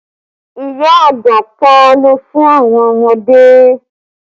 Ìyá àgbà pa àlọ́ fún àwọn ọmọdé